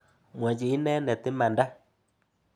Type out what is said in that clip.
Mwochi inendet imanda.